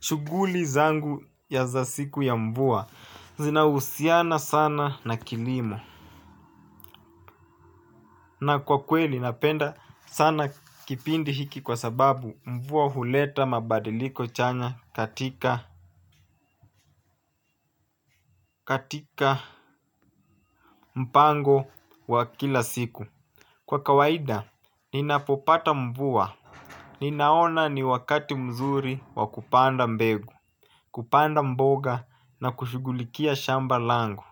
Shuguli zangu ya za siku ya mvua zinahusiana sana na kilimo. Na kwa kweli napenda sana kipindi hiki kwa sababu mvua huleta mabadiliko chanya katika mpango wa kila siku. Kwa kawaida, ninapopata mvua. Ninaona ni wakati mzuri wa kupanda mbegu. Kupanda mboga na kushugulikia shamba langu.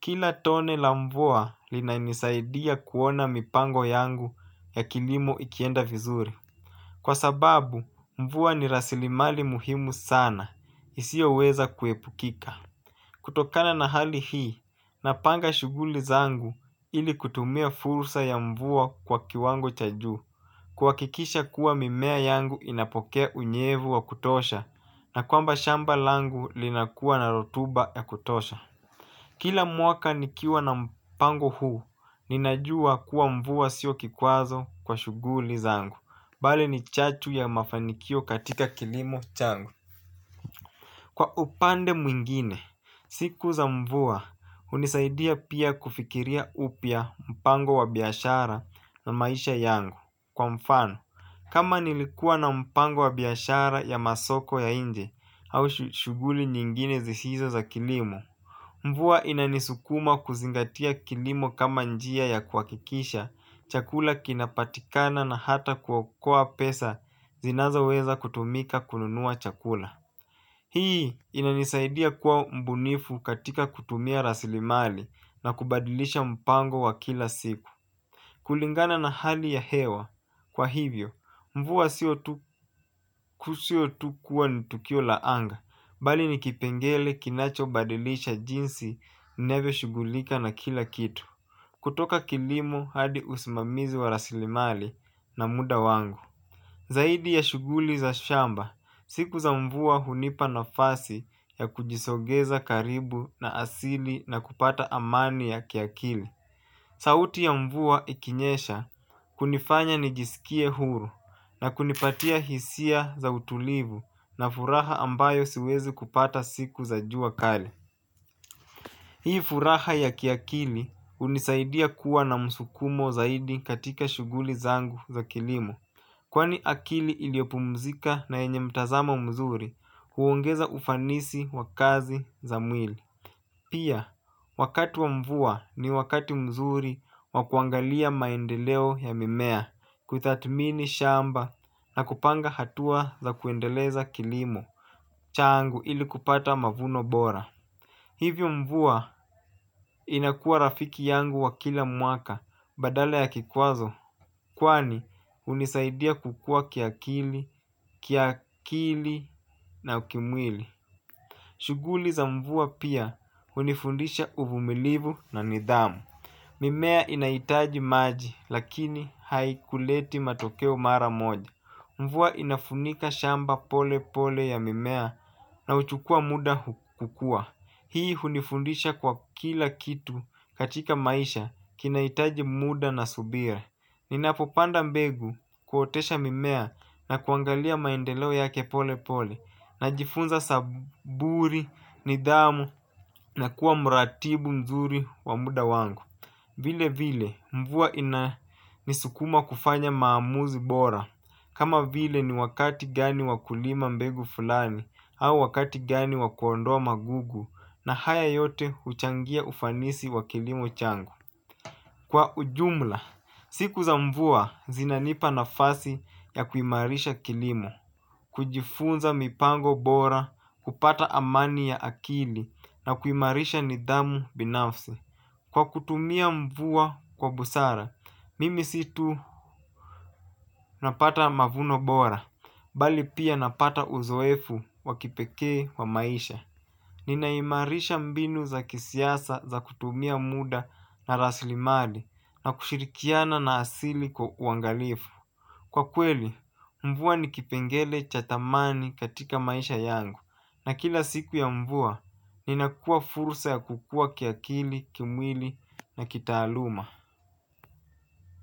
Kila tone la mvua lina nisaidia kuona mipango yangu ya kilimo ikienda vizuri. Kwa sababu, mvua ni rasilimali muhimu sana, isiyo weza kuepukika. Kutokana na hali hii, napanga shuguli zangu ili kutumia fursa ya mvua kwa kiwango cha juu. Kuhakikisha kuwa mimea yangu inapokea unyevu wa kutosha na kwamba shamba langu linakuwa na rotuba ya kutosha. Kila mwaka nikiwa na mpango huu ninajua kuwa mvua siyo kikwazo kwa shuguli zangu, bali ni chachu ya mafanikio katika kilimo changu. Kwa upande mwingine, siku za mvua, hunisaidia pia kufikiria upya mpango wabiashara na maisha yangu. Kwa mfano, kama nilikua na mpango wabiashara ya masoko ya inje au shuguli nyingine zisizo za kilimo. Mvua inanisukuma kuzingatia kilimo kama njia ya kuhakikisha, chakula kinapatikana na hata kuokoa pesa zinazo weza kutumika kununua chakula. Hii inanisaidia kuwa mbunifu katika kutumia rasilimali na kubadilisha mpango wa kila siku. Kulingana na hali ya hewa, kwa hivyo, mvua siyo tu kuwa ni tukio laanga, bali ni kipengele kinacho badilisha jinsi navyo shugulika na kila kitu. Kutoka kilimo hadi usimamizi wa rasilimali na muda wangu. Zaidi ya shuguli za shamba, siku za mvua hunipa nafasi ya kujisogeza karibu na asili na kupata amani ya kiakili. Sauti ya mvua ikinyesha hunifanya nijisikie huru na kunipatia hisia za utulivu na furaha ambayo siwezi kupata siku za jua kali. Hii furaha ya kiakili hunisaidia kuwa na msukumo zaidi katika shuguli zangu za kilimo. Kwani akili iliyopumzika na yenye mtazamo mzuri huongeza ufanisi wakazi za mwili. Pia wakati wa mvua ni wakati mzuri wakuangalia maendeleo ya mimea kuthatmini shamba na kupanga hatua za kuendeleza kilimo changu ili kupata mavuno bora. Hivyo mvua inakuwa rafiki yangu wa kila mwaka badala ya kikwazo. Kwani hunisaidia kukua kiakili, kiakili na kimwili. Shuguli za mvua pia hunifundisha uvumilivu na nidhamu. Mimea inaitaji maji lakini haikuleti matokeo mara moja. Mvua inafunika shamba pole pole ya mimea na uchukua muda kukua. Hii hunifundisha kwa kila kitu katika maisha kinahitaji muda na subira. Ninapopanda mbegu kuotesha mimea na kuangalia maendeleo yake polepole. Najifunza saburi, nidhamu na kuwa muratibu mzuri wa muda wangu. Vile vile mvua inanisukuma kufanya maamuzi bora. Kama vile ni wakati gani wakulima mbegu fulani au wakati gani wakuondoa magugu na haya yote huchangia ufanisi wa kilimo changu. Kwa ujumla, siku za mvua zinanipa nafasi ya kuimarisha kilimo kujifunza mipango bora, kupata amani ya akili na kuimarisha nidhamu binafsi. Kwa kutumia mvua kwa busara, mimi situ napata mavuno bora, bali pia napata uzoefu wakipekee wa maisha. Ninaimarisha mbinu za kisiasa za kutumia muda na raslimali na kushirikiana na asili kwa uangalifu. Kwa kweli, mvua ni kipengele cha thamani katika maisha yangu. Na kila siku ya mvua, ninakua fursa ya kukua kiakili, kimwili na kitaaluma.